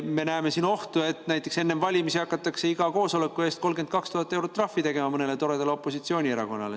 Me näeme siin ohtu, et näiteks enne valimisi hakatakse iga koosoleku eest 32 000 eurot trahvi tegema mõnele toredale opositsioonierakonnale.